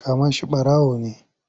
Kama shi ɓarawo ne!